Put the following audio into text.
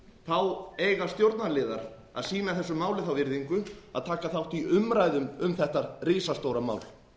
þá eiga stjórnarliðar að sýna þessu máli þá virðingu að taka þátt í umræðum um þetta risastóra mál